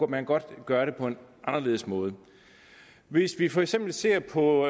man godt kunne gøre det på en anderledes måde hvis vi for eksempel ser på